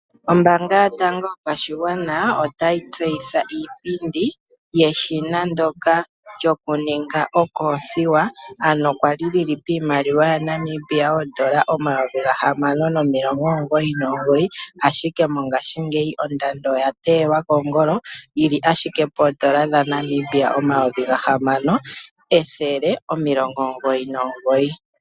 Ombaanga yotango yopashigwana otayi tseyitha iipindi yeshina ndoka lyokuninga okothiwa ,ano kwali li li piimaliwa yaNamibia N$6999 ,ashike mongashingeyi ondando oyateyelwa koongolo lili ashike poodola dhaNamibia N$6199.